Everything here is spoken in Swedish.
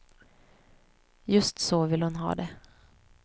Just så vill hon ha det.